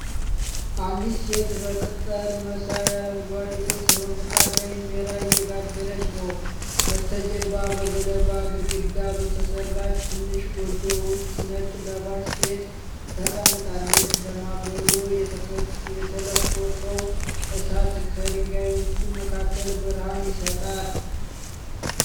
አንዲት ሴት በቅጠል መሳይ አረንጓዴ ልብስ በምጣድ ላይ እንጀራ እየጋገረች ነው። በስተጀርባ በገለባ ግድግዳ በተሰራች ትንሽ ጎጆ ውስጥ ነጭ ለባሽ ሴት ተቀምጣለች። ለማገዶ የተለኮሰው እሳት ከድንጋዮቹ መካከል ብርሃን ይሰጣል።